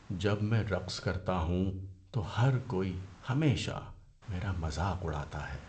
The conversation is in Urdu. جب میں رقص کرتا ہوں تو ہر کوئی ہمیشہ میرا مذاق اڑاتا ہے۔